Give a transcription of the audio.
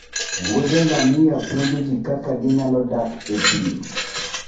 wuodhe ngamia puonjo ji kaka ginyalo dak e thim